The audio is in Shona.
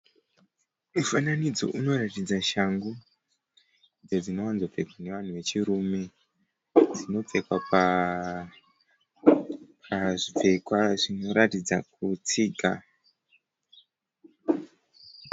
Mifananidzo inoratidza shangu idzo dzinowanzopfekwa nevanhu vechirume. Dzinopfekwa pazvipfekwa zvinoratidza kutsiga.